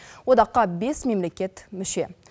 одаққа бес мемлекет мүше